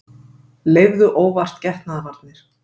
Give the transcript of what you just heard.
Leyfðu óvart getnaðarvarnir